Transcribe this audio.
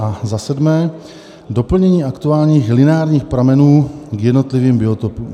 A za sedmé, doplnění aktuálních literárních pramenů k jednotlivým biotopům.